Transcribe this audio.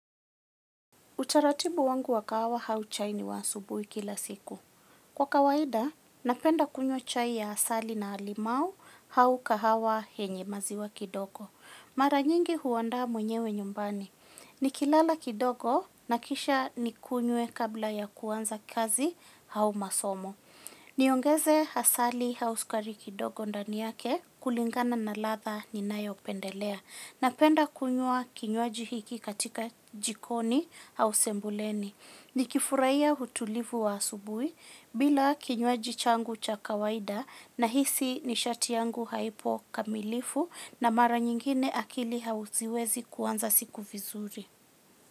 Utaratibu wangu wa kahawa au chai ni wa asubuhi kila siku. Kwa kawaida, napenda kunywa chai ya asali na limau au kahawa yenye maziwa kidogo. Mara nyingi huandaa mwenyewe nyumbani. Ni kilala kidogo na kisha nikunywe kabla ya kuanza kazi au masomo. Niongeze asali au sukari kidogo ndani yake kulingana na ladha ni nayo pendelea. Napenda kunywa kinywaji hiki katika jikoni au sembuleni. Ni kifurahiya utulivu wa asubuhi bila kinywaji changu cha kawaida nahisi nishati yangu haipo kamilifu na mara nyingine akili haziwezi kuanza siku vizuri.